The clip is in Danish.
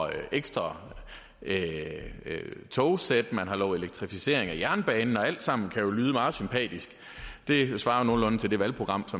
ekstra togsæt man har lovet elektrificering af jernbanen og alt sammen kan jo lyde meget sympatisk det svarer jo nogenlunde til det valgprogram